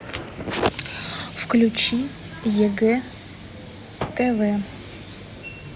включи егэ тв